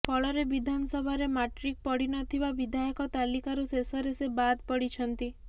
ଫଳରେ ବିଧାନସଭାରେ ମାଟି୍ରକ ପଢିି ନଥିବା ବିଧାୟକ ତାଲିକାରୁ ଶେଷରେ ସେ ବାଦ୍ ପଡ଼ିଛନ୍ତି